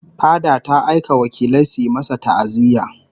Fada ta aika wakilai suyi masa ta'aziyya